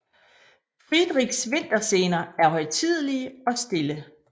Friedrichs vinterscener er højtidelige og stille